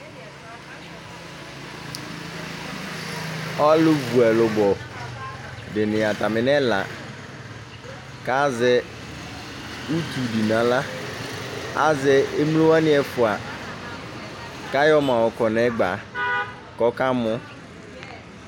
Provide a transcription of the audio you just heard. aluvu ɛlubɔ ɛla dɩnɩ azɛ utu dɩ nʊ aɣla, azɛ emlo ɛfua yɔ kɔ nʊ ɛgba kʊ akamɔ